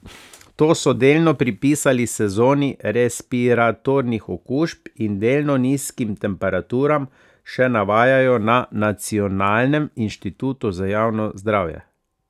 To so delno pripisali sezoni respiratornih okužb in delno nizkim temperaturam, še navajajo na Nacionalnem inštitutu za javno zdravje.